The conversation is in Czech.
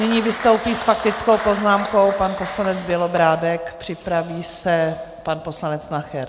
Nyní vystoupí s faktickou poznámkou pan poslanec Bělobrádek, připraví se pan poslanec Nacher.